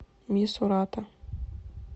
мисурата